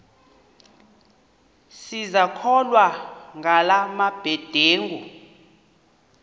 sisakholwa ngala mabedengu